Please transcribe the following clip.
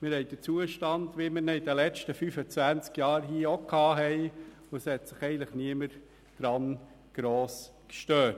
Dann haben wir den Zustand wie in den letzten 25 Jahren, und daran hat sich niemand gross gestört.